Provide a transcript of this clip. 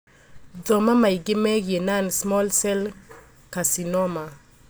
Thoma maingĩ megiĩ non small cell carcinoma.